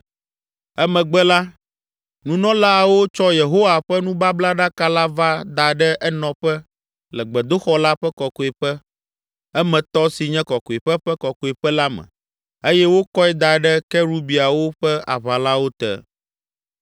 Emegbe la, nunɔlaawo tsɔ Yehowa ƒe nubablaɖaka la va da ɖe enɔƒe le gbedoxɔ la ƒe kɔkɔe ƒe emetɔ si nye Kɔkɔeƒe Ƒe Kɔkɔeƒe la me eye wokɔe da ɖe kerubiawo ƒe aʋalawo te.